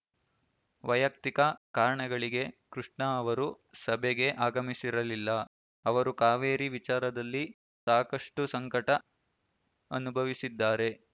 ವೈಯಕ್ತಿಕ ಕಾರಣಗಳಿಗೆ ಕೃಷ್ಣ ಅವರು ಸಭೆಗೆ ಆಗಮಿಸಿರಲಿಲ್ಲ ಅವರು ಕಾವೇರಿ ವಿಚಾರದಲ್ಲಿ ಸಾಕಷ್ಟುಸಂಕಟ ಅನುಭವಿಸಿದ್ದಾರೆ